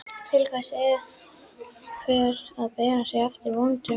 Til hvers að bera sig eftir vondum draumum?